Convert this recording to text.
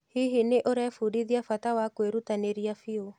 Hihi nĩũrebundithia bata wa kwĩrutanĩria biũ?